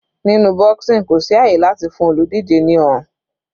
Nínú boxing kò sí àyè láti fún olùdíje ní ọrùn.